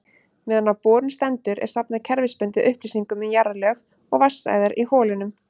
Meðan á borun stendur er safnað kerfisbundið upplýsingum um jarðlög og vatnsæðar í holunum.